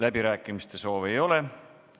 Läbirääkimiste soovi ei ole.